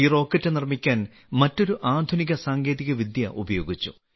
ഈ റോക്കറ്റ് നിർമ്മിക്കാൻ മറ്റൊരു ആധുനിക സാങ്കേതികവിദ്യ ഉപയോഗിച്ചു